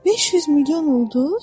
500 milyon ulduz?